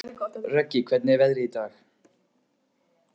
Röggi, hvernig er veðrið í dag?